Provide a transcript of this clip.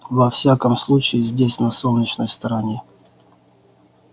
во всяком случае здесь на солнечной стороне